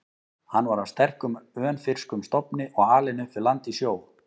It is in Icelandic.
Hann var af sterkum, önfirskum stofni og alinn upp við land og sjó.